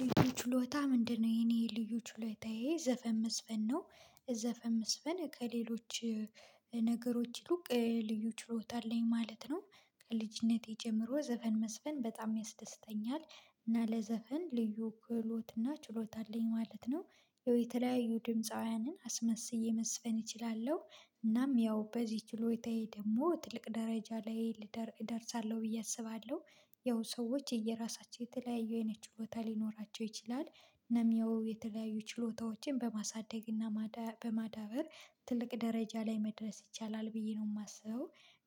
ልዩ ችሎታህ ምንድን ነው? የኔ ልዩ ችሎታዬ ዘፈን መዝፈን ነው። ዘፈን መዝፈን ከሌሎች ነገሮች ይሉቅ ልዩ ችሎታ አለኝ ማለት ነው። ከልጅነቴ ጀምሮ ዘፈን መዝፈን በጣም ያስደስተኛል። እና ለዘፈን ልዩ ክህሎት እና ችሎታ አለኝ ማለት ነው። የተለያዩ ድምፃውያንን አስመስዬ መዝፈን እችላለሁ። እናም ያው በዚህ ችሎታዬ ደግሞ ትልቅ ደረጃ ላይ ልደርስ እደርሳለሁ ብዬ አስባለሁ። ያው ሰዎች የየራሳቸው የተለያየ አይነት ችሎታ ሊኖራቸው ይችላል። እኔም ያው የተለያዩ ችሎታዎችን በማሳደግ እና በማዳበር ትልቅ ደረጃ ላይ መድረስ ይቻላል ብዬ ነው የማስበው።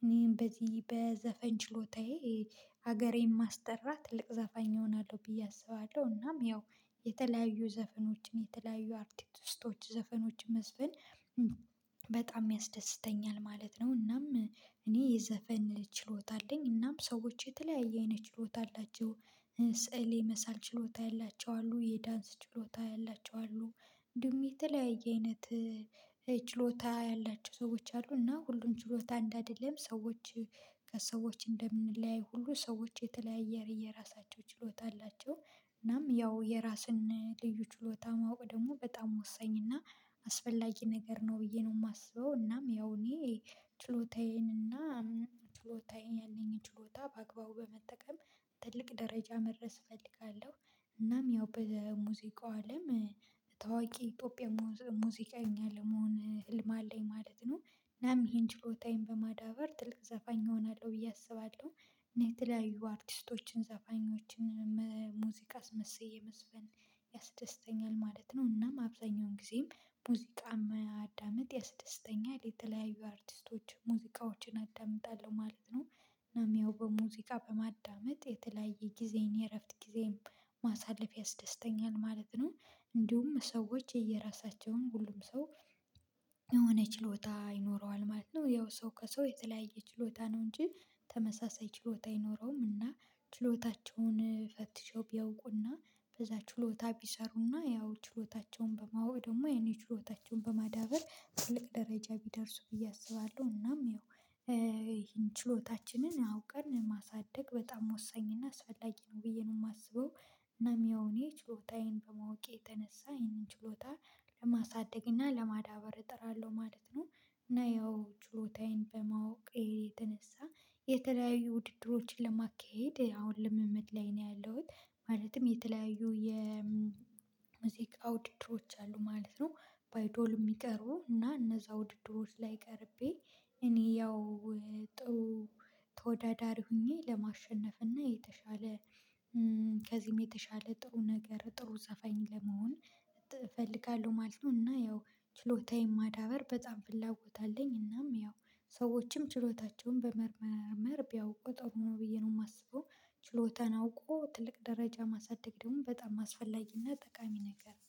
እኔም በዚህ በዘፈን ችሎታዬ ሀገሬን ማስጠራ ትልቅ ዘፋኝ እሆናለሁ ብዬ አስባለሁ። እናም ያው የተለያዩ ዘፈኖችን የተለያዩ አርቲቲስቶች ዘፈኖችን መዝፍን በጣም ያስደስተኛል ማለት ነው። እናም እኔ የዘፈን ችሎታ አለኝ። እናም ሰዎች የተለያየ አይነት ችሎታ አላቸው። ስዕል የመሳል ችሎታ ያላቸው አሉ። የዳንስ ችሎታ ያላቸው አሉ። እንዲሁም የተለያየ አይነት ችሎታ ያላቸው ሰዎች አሉ። እና ሁሉም ችሎታ አንድ አይደለም። ሰዎች ከሰዎች እንደምንለያይ ሁሉ ሰዎች የተለያየ የራሳቸው ችሎታ አላቸው። እናም ያው የራስን ልዩ ችሎታ ማወቅ ደግሞ በጣም ወሳኝ እና አስፈላጊ ነገር ነው ብዬ ነው የማስበው። እናም ያው እኔ ችሎታዬን እና ችሎታዬን ያለኝን ችሎታ በአግባቡ በመጠቀም ትልቅ ደረጃ መድረስ እፈልጋለሁ። እናም ያው በሙዚቃው አለም ታዋቂ የኢትዮጵያ ሙዚቀኛ ለመሆን ህልም አለኝ ማለት ነው። እናም ይሄን ችሎታዬን በማዳበር ትልቅ ዘፋኝ እሆናለሁ ብዬ አስባለሁ። እና የተለያዩ አርቲስቶችን ዘፋኞችን ሙዚቃ አስመስዬ መዝፈን ያስደስተኛል ማለት ነው። እናም አብዛኛውን ጊዜም ሙዚቃ ማዳምጥ ያስድስተኛል። ለተለያዩ አርቲስቶች ሙዚቃዎችን አዳምጣለሁ ማለት ነው። እናም ያው በሙዚቃ በማዳመጥ የተለያየ ጊዜን የእረፍት ጊዜየን ማሳለፍ ያስደስተኛል ማለት ነው። እንዲሁም ሰዎች የየራሳቸውን ሁሉም ሰው የሆነ ችሎታ ይኖረዋል ማለት ነው። ያው ሰው ከሰው የተለያየ ችሎታ ነው እንጂ ተመሳሳይ ችሎታ አይኖረውም። እና ችሎታቸውን ፈትሸው ቢያውቁና በዛ ችሎታ ቢሰሩና ያው ችሎታቸውን በማወቅ ደግሞ ያንን ችሎታቸውን በማዳበር ትልቅ ደረጃ ቢደርሱ ብዬ አስባለሁ። እናም ይሄን ችሎታችንን አውቀን ማሳደግ በጣም ወሳኝ እና አስላጊ ነው ብዬ ነው የማስበው። እናም ያው እኔ ችሎታዬን በማወቄ የተነሳ ይህንን ችሎታ ለማሳደግ እና ለማዳበር እጥራለሁ ማለት ነው። እና ያው ችሎታዬን በማወቄ የተነሳ የተለያዩ ውድድሮችን ለማካሄድ አሁን ልምምድ ላይ ነው ያለሁት። ማለትም የተለያዩ የሙዚቃ ውድድሮች አሉ ማለት ነው በአይዶል የሚቀርቡ እና እነዛ ውድድሮች ላይ ቀርቤ እኔ ያው ጥሩ ተወዳዳሪ ሆኜ ለማሸነፍ እና የተሻለ ከዚህም የተሻለ ጥሩ ነገር ጥሩ ዘፋኝ ለመሆን እፈልጋለሁ ማለት ነው። እና ያው ችሎታዬን ማዳበር በጣም ፍላጎት አለኝ። እናም ያው ሰዎችም ችሎታቸውን በመመርመር ቢያውቁ ጥሩ ብዬ ነው የማስበው። ችሎታን አውቆ ትልቅ ደረጃ ማሳደግ ደግሞ በጣም አስፈላጊና ጠቃሚ ነገር ነው።